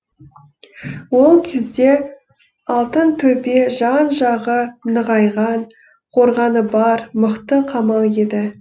ол кезде алтынтөбе жан жағы нығайған қорғаны бар мықты қамал еді